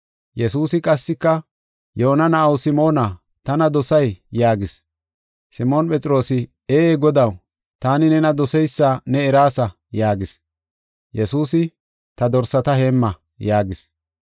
Yesuusi qassika, “Yoona na7aw Simoona, tana dosay?” yaagis. Simoon Phexroosi, “Ee Godaw, taani nena doseysa ne eraasa” yaagis. Yesuusi, “Ta dorsata heemma” yaagis.